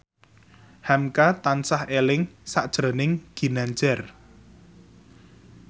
hamka tansah eling sakjroning Ginanjar